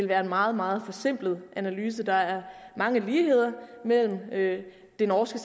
være en meget meget forsimplet analyse der er mange ligheder mellem det det norske